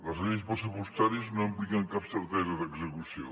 les lleis pressupostàries no impliquen cap certesa d’execució